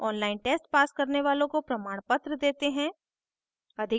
online test pass करने वालोँ को प्रमाणपत्र देते हैं